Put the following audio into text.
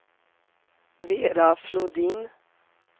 Vera Flodin